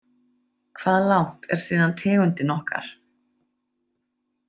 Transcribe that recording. Hvað langt er síðan tegundin okkar.